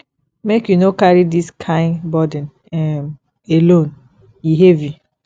make you no carry dis kain burden um alone e heavy